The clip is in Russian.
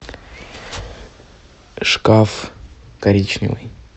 шкаф коричневый